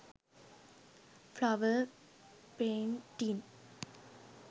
flower painting